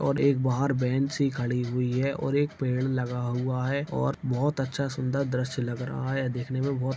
और एक बाहर वैन सी खड़ी हुई है और एक पेड़ लगा हुआ है और बहोत अच्छा सुंदर दृश्य लग रहा है। देखने में बहोत --